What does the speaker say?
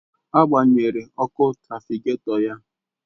Agbanyere ọkụ trafịgatọ ya